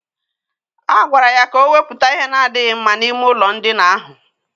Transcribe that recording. A gwara ya ka o wepụta ihe na-adịghị mma n'ime ụlọ ndina ahụ.